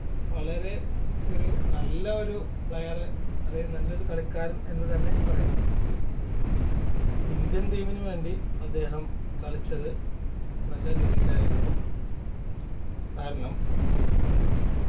വളരെ ഒരു നല്ല ഒരു player അതായത് നല്ലൊരു കളിക്കാരൻ എന്നു തന്നെ പറയാം Indian team ന് വേണ്ടി അദ്ദേഹം കളിച്ചത് നല്ല രീതിയിലായിരുന്നു കാരണം